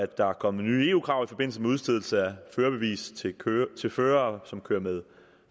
der kommet nye eu krav i forbindelse med udstedelse af førerbevis til fører som kører med